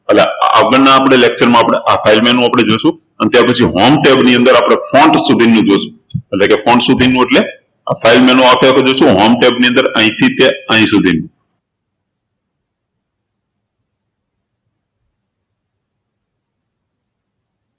એટલે આગળના lecture માં file menu જોશું અને ત્યારપછી આપણે home tab ની અંદર આપણે સુધીનું જોશું એટલે કે સુધીનું એટલે આ file menu સાથે આ home tab ની અંદર આપણે અહીંથી તે અહી સુધી